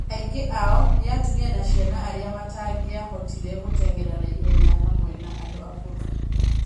Aingĩ ao nĩ atumia na ciana aria matangĩavotire gũteng'era na ivenya hamwe na andũ akũrũ.